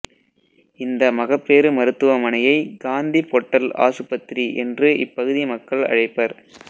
இந்த மகப்பேறு மருத்துவமனையை காந்தி பொட்டல் ஆசுபத்திரி என்று இப்பகுதி மக்கள் அழைப்பர்